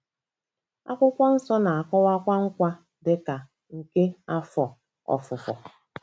Akwụkwọ Nsọ na-akọwakwa nkwa dị ka nke afọ ofufo.